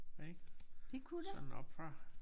Ik sådan oppefra